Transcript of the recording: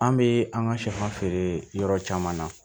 An bɛ an ka sɛfan feere yɔrɔ caman na